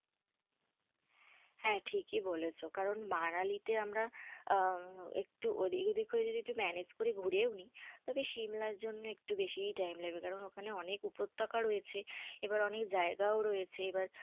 হ্যাঁ ঠিক ই বলেছ, কারণ মানালিতে আমরা আঃ আঃ একটু এদিকওদিক manage করে ঘুরেও নি, তবে সিমলার জন্য একটু বেশিই time লাগবে, কারণ ওখানে অনেক উপত্যকা রয়েছে এবং অনেক জায়গায় ও রয়েছে আবার।